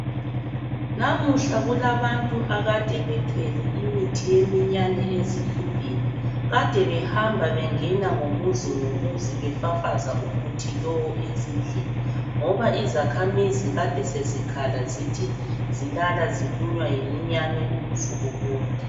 Namuhla kulabantu kade bethwele imithi yeminyane behamba befafaza muzi ngamuzi ezindlini ngoba izakhamizi besezikhala zithi zilala zilunywa yeminyane ubusuku bonke.